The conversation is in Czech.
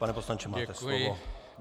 Pane poslanče, máte slovo.